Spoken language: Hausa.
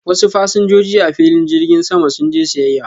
wasu fasinjoji a filin jirgin sama sun je siyyaya.